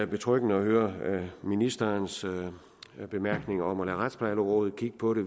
betryggende at høre ministerens bemærkninger om at lade retsplejerådet kigge på det